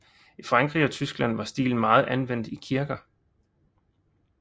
I Frankrig og Tyskland var stilen meget anvendt i kirker